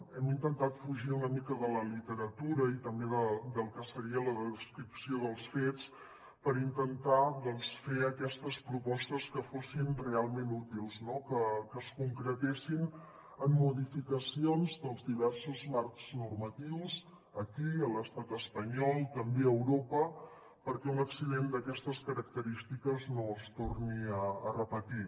hem intentat fugir una mica de la literatura i també del que seria la descripció dels fets per intentar doncs fer aquestes propostes que fossin realment útils no que es concretessin en modificacions dels diversos marcs normatius aquí a l’estat espanyol també a europa perquè un accident d’aquestes característiques no es torni a repetir